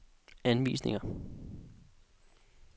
anvisninger